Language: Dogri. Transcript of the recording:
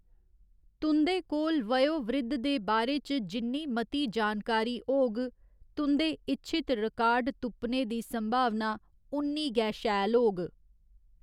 तुं'दे कोल वयोवृद्ध दे बारे च जिन्नी मती जानकारी होग, तुं'दे इच्छित रिकार्ड तुप्पने दी संभावना उन्नी गै शैल होग।